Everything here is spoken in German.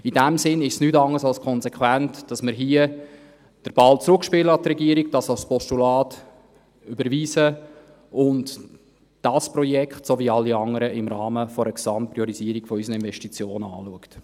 In diesem Sinn ist es nichts anderes als konsequent, dass wir hier den Ball an die Regierung zurückspielen, dies als Postulat überweisen und man das Projekt, sowie auch alle anderen, im Rahmen einer Gesamtpriorisierung unserer Investitionen anschaut.